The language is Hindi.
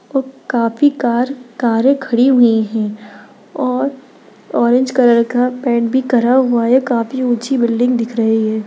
काफ़ी कार कारे खड़ी हुइ है और ऑरेंज कलर का पेंट भी करा हुआ है काफ़ी ऊची बिल्डिंग दिख रही है।